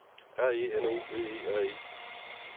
R E N O V E R E